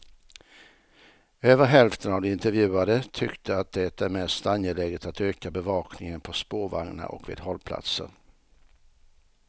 Över hälften av de intervjuade tyckte att det är mest angeläget att öka bevakningen på spårvagnar och vid hållplatser.